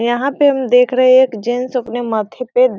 यह पर हु देख रही हा एक जेन्स अपने माथे पे --